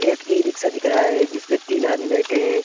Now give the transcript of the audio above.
एक ई-रिक्शा दिख रहा है जिसपे तीन आदमी बैठे हैं।